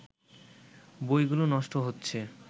বইগুলো নষ্ট হচ্ছে